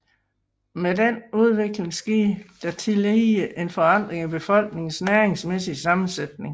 Med denne udvikling skete der tillige en forandring i befolkningens næringsmæssige sammensætning